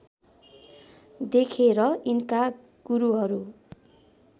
देखेर यिनका गुरुहरू